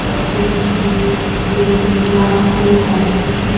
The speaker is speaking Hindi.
पैसे की नि सुविधा हो जाती --